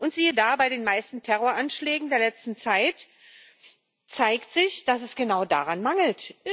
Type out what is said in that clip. Und siehe da Bei den meisten Terroranschlägen der letzten Zeit zeigt sich, dass es genau daran mangelt.